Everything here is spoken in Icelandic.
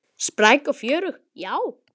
Spræk og fjörug, já.